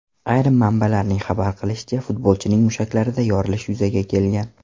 Ayrim manbalarning xabar qilishicha, futbolchining mushaklarida yorilish yuzaga kelgan.